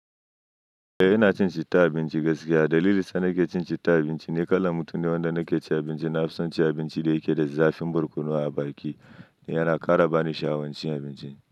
Eh ina cin citta abinci gaskiya. Dalilin sa nake cin citta abinci, ni kalan mutunne wanda nake ci abinci na fison ci abinci da yake da zafin barkono a baki, yana kara bani sha'awancin abincin.